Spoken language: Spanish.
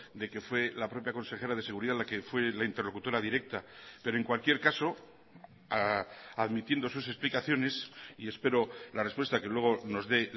de que fue la propia consejera de seguridad la que fue la interlocutora directa pero en cualquier caso admitiendo sus explicaciones y espero la respuesta que luego nos dé